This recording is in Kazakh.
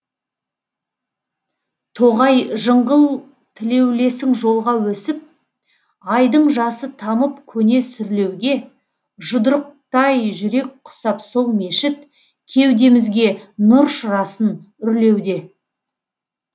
тоғай жыңғыл тілеулесің жолға өсіп айдың жасы тамып көне сүрлеуге жұдырықтай жүрек құсап сол мешіт кеудемізге нұр шырасын үрлеуде